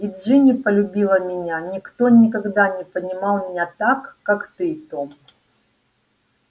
и джинни полюбила меня никто никогда не понимал меня так как ты том